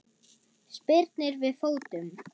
Spyrnir við fótum.